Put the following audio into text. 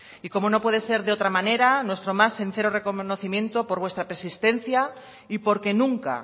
y como no puede ser de otra manera nuestro más sincero reconocimiento por vuestra persistencia y porque nunca